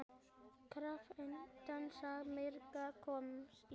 Krappan dans margir komast í.